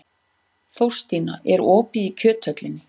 Þórstína, er opið í Kjöthöllinni?